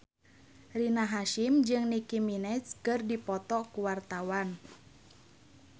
Rina Hasyim jeung Nicky Minaj keur dipoto ku wartawan